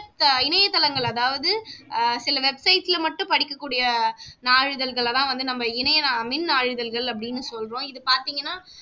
இணைய தளங்கள் அதாவது ஆஹ் சில website ல மட்டும் படிக்கக்கூடிய நாளிதழ்கள் எல்லாம் நம்ம வந்து இணைய மின்னாழிதள்கள் அப்படின்னு சொல்றோம் இது பார்த்தீங்கன்னா